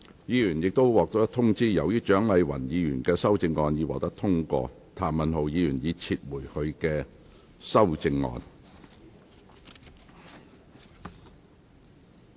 議員已獲通知，由於蔣麗芸議員的修正案獲得通過，譚文豪議員已撤回他的修正案。